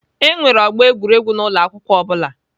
E nwere ọgbọ egwuregwu n'ụlọ akwụkwọ ọ bụla.